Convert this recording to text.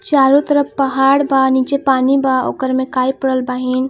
चारो तरफ पहाड़ बा नीचे पानी बा ओकरे में काई पड़ल बाहिन.